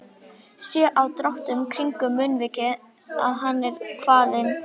Sé á dráttunum kringum munnvikin að hann er kvalinn.